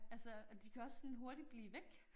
Altså og de kan også sådan hurtigt blive væk